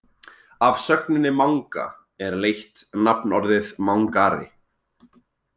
Af sögninni manga er leitt nafnorðið mangari.